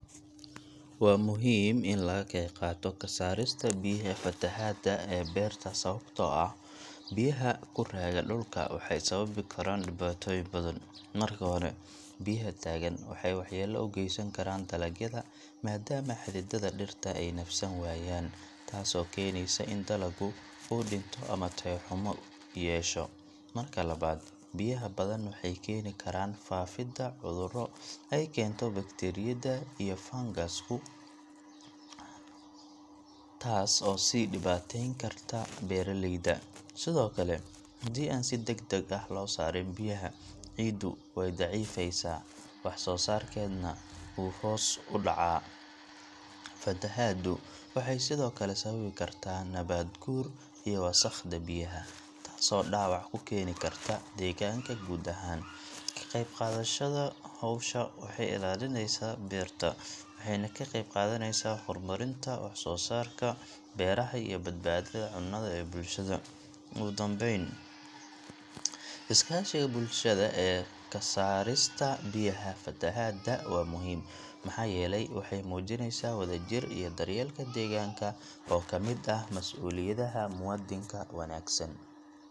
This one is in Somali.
Waa muhiim in laga qeyb qaato ka saarista biyaha fatahaadda ee beerta sababtoo ah biyaha ku raaga dhulka waxay sababi karaan dhibaatooyin badan. Marka hore, biyaha taagan waxay waxyeello u geysan karaan dalagyada maadaama xididdada dhirta ay neefsan waayaan, taasoo keeneysa in dalaggu uu dhinto ama tayo xumo yeesho. Marka labaad, biyaha badan waxay keeni karaan faafidda cudurro ay keento bakteeriyada iyo fangas-ku, taas oo sii dhibaateyn karta beeraleyda. Sidoo kale, haddii aan si degdeg ah loo saarin biyaha, ciiddu way daciifaysaa, wax soo saarkeedana wuu hoos u dhacaa. Fatahaaddu waxay sidoo kale sababi kartaa nabaad guur iyo wasakhda biyaha, taasoo dhaawac ku keeni karta deegaanka guud ahaan. Ka qeyb qaadashada hawshan waxay ilaalinaysaa beerta, waxayna ka qeyb qaadanaysaa horumarinta wax soo saarka beeraha iyo badbaadada cunnada ee bulshada. Ugu dambeyn, iskaashiga bulshada ee ka saarista biyaha fatahaadda waa muhim, maxaa yeelay waxey muujinaysaa wadajir iyo daryeelka deegaanka oo ka mid ah mas’uuliyadaha muwaadinka wanaagsan.